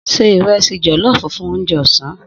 Se ìrẹsì jọ̀lọ́ọfù fún oúnjẹ ọ̀sán.